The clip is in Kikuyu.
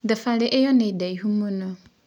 Thabarĩ ĩyo nĩ ndaĩhũ mũno